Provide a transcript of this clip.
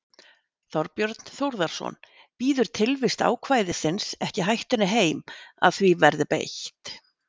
Þorbjörn Þórðarson: Bíður tilvist ákvæðisins ekki hættunni heim að því verði beitt?